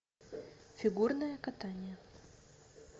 фигурное катание